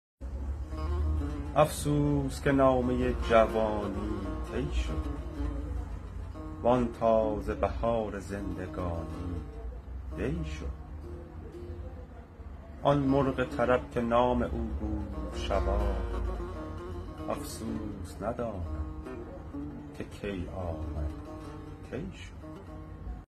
افسوس که نامه جوانی طی شد وآن تازه بهار زندگانی دی شد آن مرغ طرب که نام او بود شباب افسوس ندانم که کی آمد کی شد